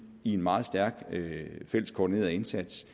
i en meget stærk fælles koordineret indsats